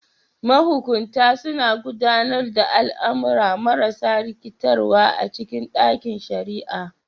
Mahukunta suna gudanar da al'amura marasa rikitarwa a cikin ɗakin shari'a.